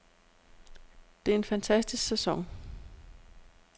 Det er en fantastisk sæson.